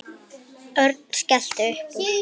Örn skellti upp úr.